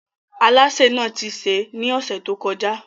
Alásè náà ti sè é ní ọ̀sẹ̀ tó kọjá.